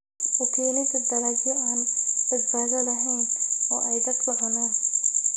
U keenida dalagyo aan badbaado lahayn oo ay dadku cunaan.